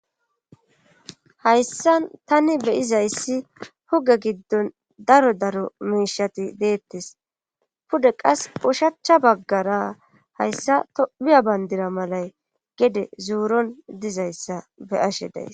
hayssan tani beyizayssi huge giddon daro daro miishati deettes pude qas ushachcha baggara hayssa tophiya bayndira malay gede zooron dizayssa be ashe days